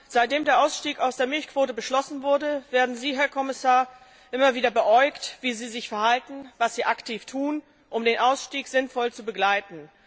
Seitdem der Ausstieg aus der Milchquote beschlossen wurde, werden Sie, Herr Kommissar, immer wieder beäugt, wie Sie sich verhalten, was Sie aktiv tun, um den Ausstieg sinnvoll zu begleiten.